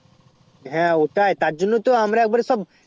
হ্যাঁ ওটাই তার জন্য তো আমরা এক বাড়ে সব